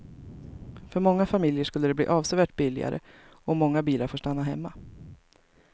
För många familjer skulle det bli avsevärt billigare och många bilar får stanna hemma.